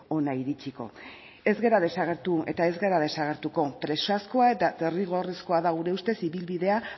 hona iritsiko ez gara desagertu eta ez gara desagertuko presazkoa eta derrigorrezkoa da gure ustez ibilbidea